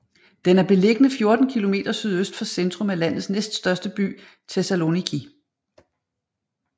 Den er beliggende 14 kilometer sydøst for centrum af landets næststørste by Thessaloniki